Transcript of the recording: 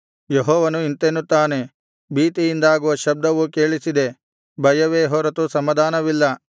ಯೆಹೋವನು ಇಂತೆನ್ನುತ್ತಾನೆ ಭೀತಿಯಿಂದಾಗುವ ಶಬ್ದವು ಕೇಳಿಸಿದೆ ಭಯವೇ ಹೊರತು ಸಮಾಧಾನವಿಲ್ಲ